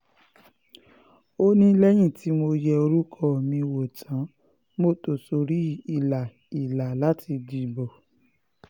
ó ní lẹ́yìn tí mo yẹ orúkọ mi wò tán mo tò sórí ìlà ìlà láti dìbò